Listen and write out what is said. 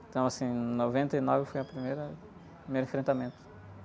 Então assim, em noventa e nove, foi o primeira, o primeiro enfrentamento.